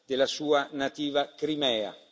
della sua nativa Crimea.